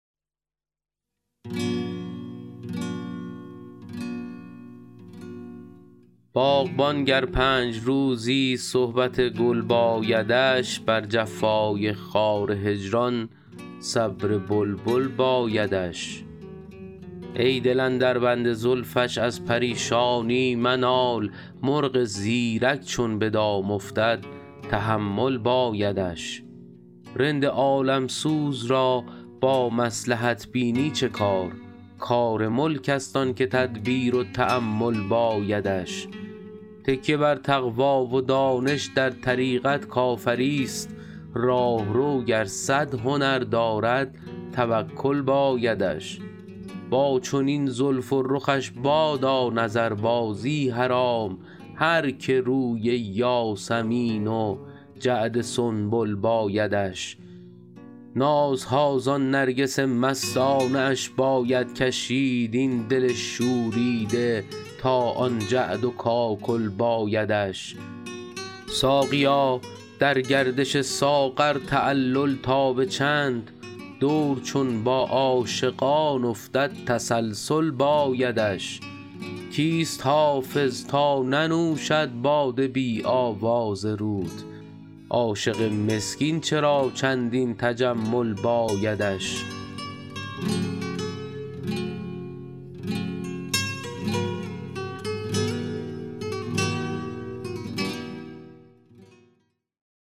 باغبان گر پنج روزی صحبت گل بایدش بر جفای خار هجران صبر بلبل بایدش ای دل اندر بند زلفش از پریشانی منال مرغ زیرک چون به دام افتد تحمل بایدش رند عالم سوز را با مصلحت بینی چه کار کار ملک است آن که تدبیر و تأمل بایدش تکیه بر تقوی و دانش در طریقت کافری ست راهرو گر صد هنر دارد توکل بایدش با چنین زلف و رخش بادا نظربازی حرام هر که روی یاسمین و جعد سنبل بایدش نازها زان نرگس مستانه اش باید کشید این دل شوریده تا آن جعد و کاکل بایدش ساقیا در گردش ساغر تعلل تا به چند دور چون با عاشقان افتد تسلسل بایدش کیست حافظ تا ننوشد باده بی آواز رود عاشق مسکین چرا چندین تجمل بایدش